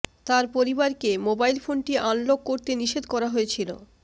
তার পরিবারকে মোবাইল ফোনটি আনলক করতে নিষেধ করা হয়েছিল